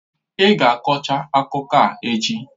Ị ga kọchaa akụkọ a echi!